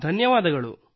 ಧನ್ಯವಾದಗಳು